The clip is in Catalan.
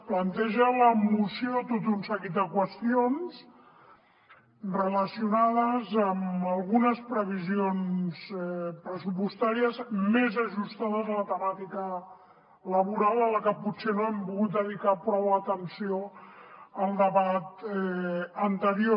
planteja la moció tot un seguit de qüestions relacionades amb algunes previsions pressupostàries més ajustades a la temàtica laboral a la que potser no hem pogut dedicar prou atenció al debat anterior